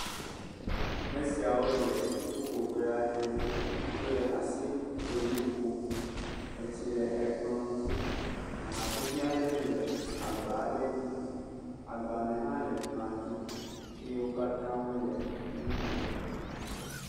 Me siawo le ƒuƒoƒe aɖe. Wole asikpolui ƒom. Etsi le ekplɔ̃ dzi. Aha vivi aɖe le agba aɖe dzi. Agbalẽ hã le kplɔ̃a dzi eye wo katã wole enu kom.